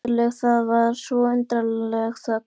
Þögnin var undarleg, það var svo undarleg þögn.